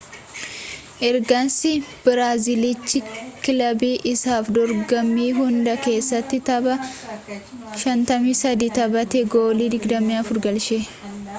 ergasii biraaziltichi kilabii isaaf dorgommii hunda kessatti tapha 53 taphatee goolii 24 galche